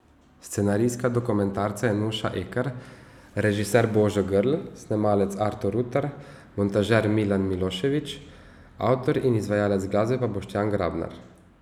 Scenaristka dokumentarca je Nuša Ekar, režiser Božo Grlj, snemalec Artur Rutar, montažer Milan Miloševič, avtor in izvajalec glasbe pa Boštjan Grabnar.